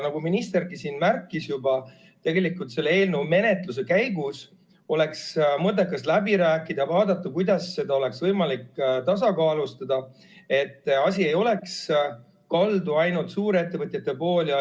Nagu ministergi märkis, siis tegelikult oleks selle eelnõu menetluse käigus mõttekas läbi rääkida ja vaadata, kuidas seda oleks võimalik tasakaalustada, et asi ei oleks kaldu ainult suurettevõtjate poole.